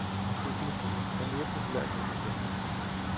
Økologien er mere populær end nogensinde.